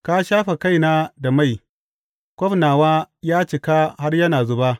Ka shafe kaina da mai; kwaf nawa ya cika har yana zuba.